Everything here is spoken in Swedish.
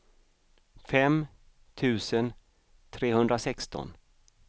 fem tusen trehundrasexton